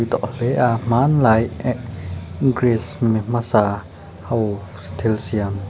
tawh hle a hmanlai ehk greece mi hmasa ho an thil siam--